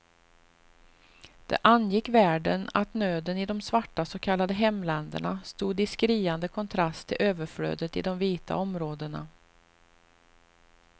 Det angick världen att nöden i de svarta så kallade hemländerna stod i skriande kontrast till överflödet i de vita områdena.